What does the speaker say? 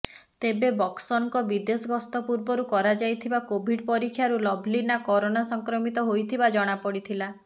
ତେବେ ବକ୍ସରଙ୍କ ବିଦେଶ ଗସ୍ତ ପୂର୍ବରୁ କରାଯାଇଥିବା କୋଭିଡ୍ ପରୀକ୍ଷାରୁ ଲଭ୍ଲିନା କରୋନା ସଂକ୍ରମିତ ହୋଇଥିବା ଜଣାପଡ଼ିଥିଲା